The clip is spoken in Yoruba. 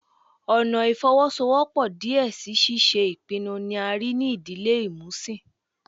Ọna ifowosowopo diẹ sii si ṣiṣe ipinnu ni a rii ni idile imusin